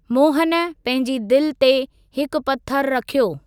मोहन पंहिंजी दिलि ते हिकु पथरु रखियो।